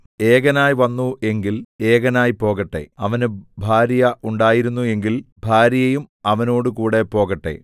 ഏകനായി വന്നു എങ്കിൽ ഏകനായി പോകട്ടെ അവന് ഭാര്യ ഉണ്ടായിരുന്നു എങ്കിൽ ഭാര്യയും അവനോടുകൂടെ പോകട്ടെ